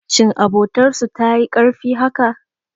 Shin abotar su tayi karfi haka?